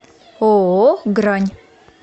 ооо грань